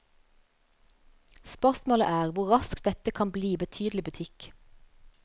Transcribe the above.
Spørsmålet er hvor raskt dette kan bli betydelig butikk.